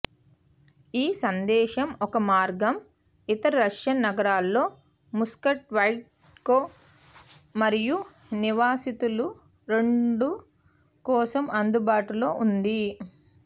ఈ సందేశం ఒక మార్గం ఇతర రష్యన్ నగరాల్లో ముస్కోవైట్స్కు మరియు నివాసితులు రెండు కోసం అందుబాటులో ఉంది